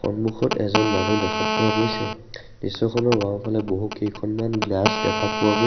সন্মুখত এজন মানুহ দেখা পোৱা গৈছে দৃশ্যখনৰ বাওঁফালে বহুকেইখনমান গ্লাচ দেখা পোৱা গৈছ --